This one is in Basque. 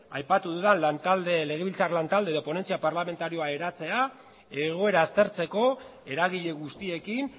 aipatu dudan legebiltzar lantalde edo ponentzia parlamentarioa eratzea egoera aztertzeko eragile guztiekin